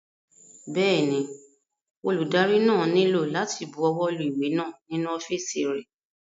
Bẹ́ẹ̀ni, olùdarí náà nílò láti bu ọwọ́ lu ìwé náà nínú ọ́fìsì rẹ̀